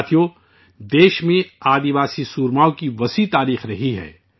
ساتھیو، ہندوستان میں آدیواسی جانبازوں کی شاندار تاریخ رہی ہے